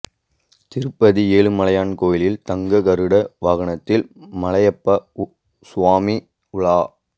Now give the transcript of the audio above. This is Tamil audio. திருப்பதி ஏழுமலையான் கோயிலில் தங்க கருட வாகனத்தில் மலையப்ப சுவாமி உலா